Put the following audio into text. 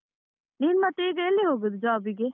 ನೀನ್ ಮತ್ತೆ ಈಗ ಎಲ್ಲಿ ಹೋಗುದು job ಗೆ?